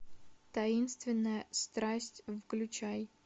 таинственная страсть включай